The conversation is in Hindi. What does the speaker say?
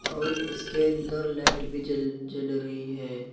और इसके अंदर लाइट भी जल जल रही है।